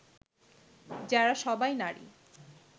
যারা সবাই নারী